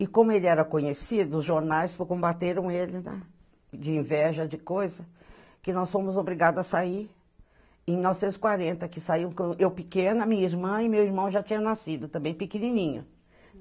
E como ele era conhecido, os jornais combateram ele, né, de inveja, de coisa, que nós fomos obrigadas a sair em novecentos e quarenta, que saiu eu pequena, minha irmã e meu irmão já tinham nascido também, pequenininho.